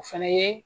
O fana ye